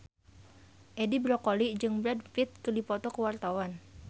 Edi Brokoli jeung Brad Pitt keur dipoto ku wartawan